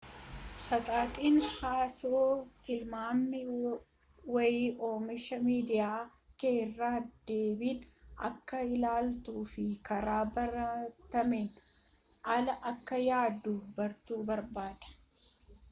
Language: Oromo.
saxaxin haasoo tilmaami waayee oomisha miidiyaa kee irra deebiin akka ilaaltuu fi karaa baratameen ala akka yaaduu bartu barbaada